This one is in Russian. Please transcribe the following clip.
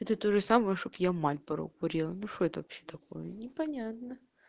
это тоже самое чтоб я мальборо курила ну что это вообще такое непонятно